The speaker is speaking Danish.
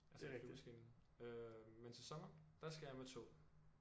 Altså med flyvemaskinen. Øh men til sommer der skal jeg med tog